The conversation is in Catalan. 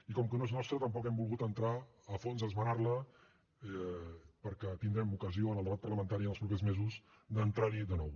i com que no és nostra tampoc hem volgut entrar a fons a esmenar la perquè tindrem ocasió en el debat parlamentari en els propers mesos d’entrar hi de nou